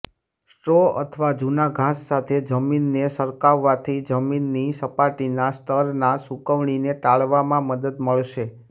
straw અથવા જૂના ઘાસ સાથે જમીનને સરકાવવાથી જમીનની સપાટીના સ્તરના સૂકવણીને ટાળવામાં મદદ મળશે